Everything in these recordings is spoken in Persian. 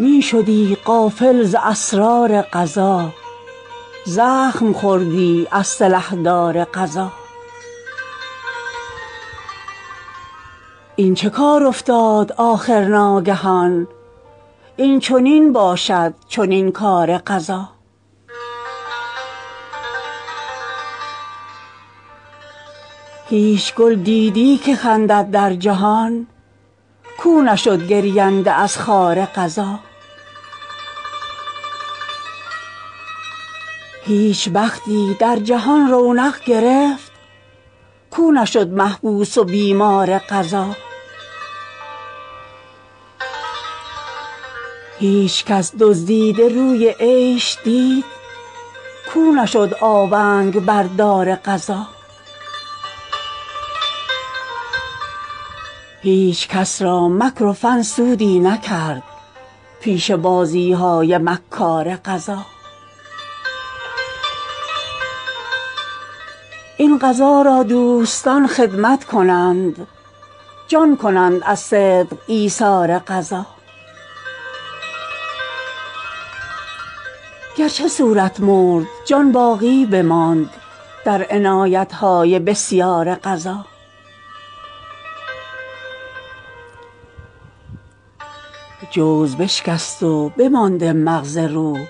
می شدی غافل ز اسرار قضا زخم خوردی از سلحدار قضا این چه کار افتاد آخر ناگهان این چنین باشد چنین کار قضا هیچ گل دیدی که خندد در جهان کو نشد گرینده از خار قضا هیچ بختی در جهان رونق گرفت کو نشد محبوس و بیمار قضا هیچ کس دزدیده روی عیش دید کو نشد آونگ بر دار قضا هیچ کس را مکر و فن سودی نکرد پیش بازی های مکار قضا این قضا را دوستان خدمت کنند جان کنند از صدق ایثار قضا گرچه صورت مرد جان باقی بماند در عنایت های بسیار قضا جوز بشکست و بمانده مغز روح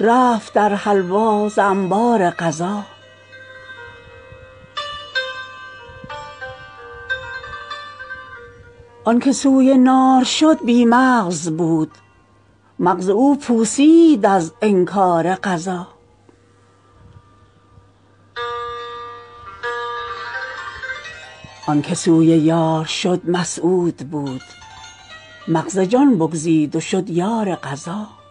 رفت در حلوا ز انبار قضا آنک سوی نار شد بی مغز بود مغز او پوسید از انکار قضا آنک سوی یار شد مسعود بود مغز جان بگزید و شد یار قضا